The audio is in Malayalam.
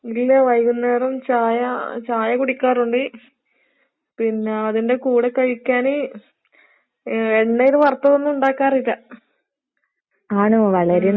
ഇല്ല വൈകുന്നേരം ചായ ചായ കുടിക്കാറുണ്ട്. പിന്നേ അതിന്റെ കൂടെ കഴിക്കാന് ഏഹ് എണ്ണേല് വറുത്തതൊന്നും ഉണ്ടാക്കാറില്ല. ഉം.